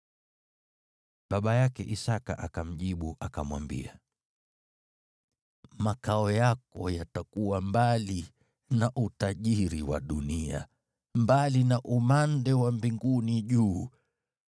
Baba yake Isaki akamjibu, akamwambia, “Makao yako yatakuwa mbali na utajiri wa dunia, mbali na umande wa mbinguni juu.